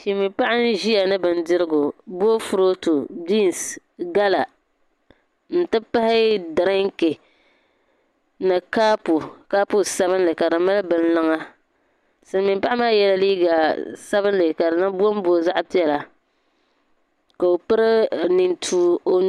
Silimiim'paɣa n-ʒiya ni bindirigu boofurootu binsi gala nti pahi dirinki ni kapu kaapu sabinli ka di mali bini liŋ silimiim'paɣa maa yela liiga sabinli ka bombo zaɣ'piɛla ka o piri nintuwa o nuu ni.